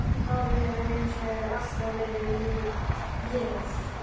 Hárið hefur hins vegar alltaf verið liðað.